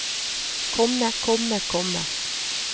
komme komme komme